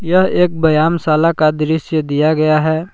यह एक व्यायाम शाला का दृश्य दिया गया है।